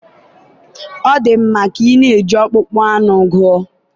ọ ga-adị mma ka ị na-eji ọkpụkpụ anụ gụọ